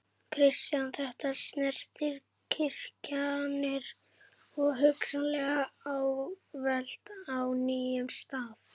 Kristján: Þetta snertir virkjanir og hugsanlega álver á nýjum stað?